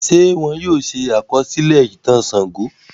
Ṣé wọ́n yóò ṣe àkọsílẹ̀ ìtàn Ṣàngó?